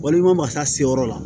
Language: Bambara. Walima masa se yɔrɔ la